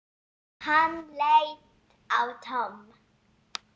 Hann leit á Tom.